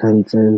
Council.